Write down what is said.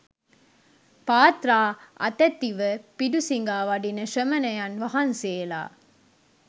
පාත්‍රා අතැතිව පිඬු සිඟා වඩින ශ්‍රමණයන් වහන්සේලා